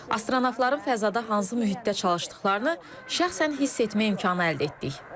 Astronavtların fəzada hansı mühitdə çalışdıqlarını şəxsən hiss etmək imkanı əldə etdik.